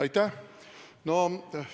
Aitäh!